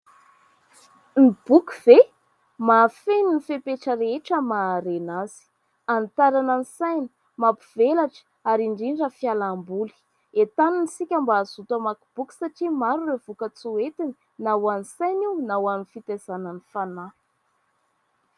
Ny boky ve ? Mahafeno ny fepetra rehetra maha harena azy : hanitarana ny saina, mampivelatra ary indrindra fialamboly. Entanina isika mba hazoto hamaky boky satria maro ireo vokatsoa entiny, na ho an'ny saina io na ho an'ny fitaizana ny fanahy.